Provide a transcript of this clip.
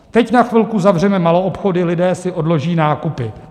Teď na chvilku zavřeme maloobchody, lidé si odloží nákupy.